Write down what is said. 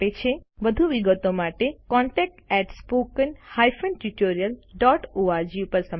વધુ વિગતો માટે contactspoken tutorialorg પર સંપર્ક કરો